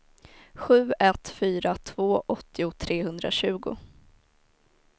sju ett fyra två åttio trehundratjugo